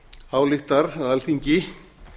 ályktar að alþingi